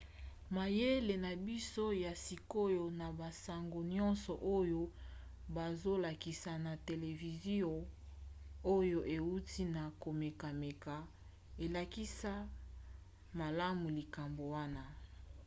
mayele na biso ya sikoyo na basango nyonso oyo bazolakisa na televizio oyo euti na komekameka elakisa malamu likambo wana